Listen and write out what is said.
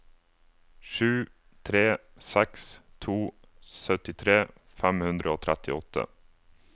sju tre seks to syttitre fem hundre og trettiåtte